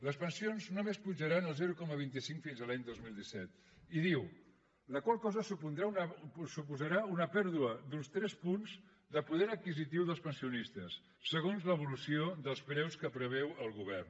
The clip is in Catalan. les pensions només pujaran el zero coma vint cinc fins a l’any dos mil disset i diu la qual cosa suposarà una pèrdua d’uns tres punts de poder adquisitiu dels pensionistes segons l’evolució dels preus que preveu el govern